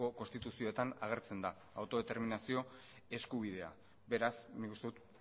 konstituzioetan agertzen da autodeterminazio eskubidea beraz nik uste dut